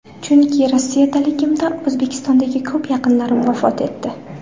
Chunki Rossiyadaligimda O‘zbekistondagi ko‘p yaqinlarim vafot etdi.